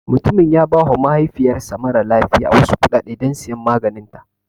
Mutumin ya ba wa mahaifiyar sa mara lafiya wasu kuɗaɗe don siyan maganinta